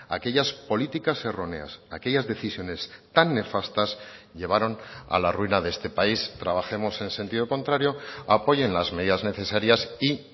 aquellas políticas erróneas aquellas decisiones tan nefastas llevaron a la ruina de este país trabajemos en sentido contrario apoyen las medidas necesarias y